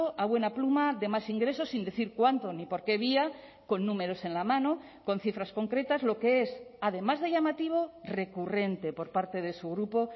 a buena pluma de más ingresos sin decir cuánto ni por qué vía con números en la mano con cifras concretas lo que es además de llamativo recurrente por parte de su grupo